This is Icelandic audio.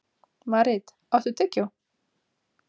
Marit, áttu tyggjó?